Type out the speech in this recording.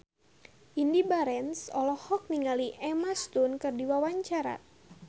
Indy Barens olohok ningali Emma Stone keur diwawancara